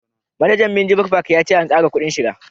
Manajan minjibir fak ya ce an kara kudin shiga